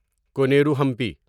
Koneru Hampi